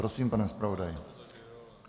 Prosím, pane zpravodaji.